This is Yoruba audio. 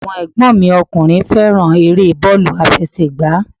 Àwọn ẹ̀gbọ́n mi ọkùnrin fẹ́ràn eré bọ́ọ̀lù àfẹsẹ̀gbá